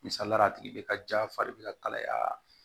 Misaliyala a tigi bɛ ka ja fari bɛ ka kalaya